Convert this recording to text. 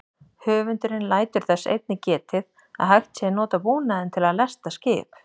Höfundurinn lætur þess einnig getið að hægt sé að nota búnaðinn til að lesta skip.